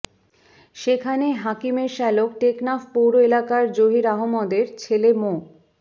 সেখানে হাকিমের শ্যালক টেকনাফ পৌর এলাকার জহির আহমদের ছেলে মো